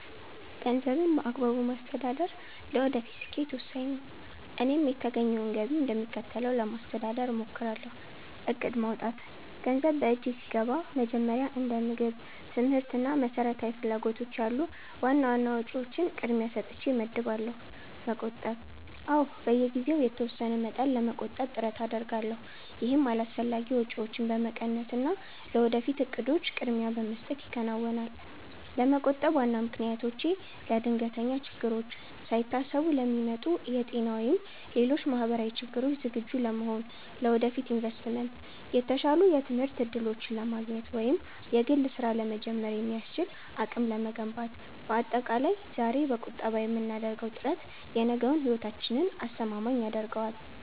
ገንዘብን በአግባቡ ማስተዳደር ለወደፊት ስኬት ወሳኝ ነው፤ እኔም የተገኘውን ገቢ እንደሚከተለው ለማስተዳደር እሞክራለሁ፦ እቅድ ማውጣት፦ ገንዘብ በእጄ ሲገባ መጀመሪያ እንደ ምግብ፣ ትምህርት እና መሰረታዊ ፍላጎቶች ያሉ ዋና ዋና ወጪዎችን ቅድሚያ ሰጥቼ እመድባለሁ። መቆጠብ፦ አዎ፣ በየጊዜው የተወሰነ መጠን ለመቆጠብ ጥረት አደርጋለሁ። ይህም አላስፈላጊ ወጪዎችን በመቀነስና ለወደፊት እቅዶች ቅድሚያ በመስጠት ይከናወናል። ለመቆጠብ ዋና ምክንያቶቼ፦ ለድንገተኛ ችግሮች፦ ሳይታሰቡ ለሚመጡ የጤና ወይም ሌሎች ማህበራዊ ችግሮች ዝግጁ ለመሆን። ለወደፊት ኢንቨስትመንት፦ የተሻሉ የትምህርት እድሎችን ለማግኘት ወይም የግል ስራ ለመጀመር የሚያስችል አቅም ለመገንባት። ባጠቃላይ፣ ዛሬ በቁጠባ የምናደርገው ጥረት የነገውን ህይወታችንን አስተማማኝ ያደርገዋል።